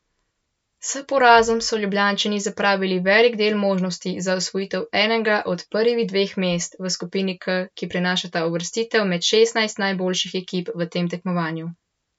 S porazom so Ljubljančani zapravili velik del možnosti za osvojitev enega od prvih dveh mest v skupini K, ki prinašata uvrstitev med šestnajst najboljših ekip v tem tekmovanju.